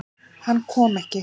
Hann kom ekki.